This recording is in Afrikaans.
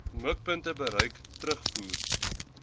mikpunte bereik terugvoer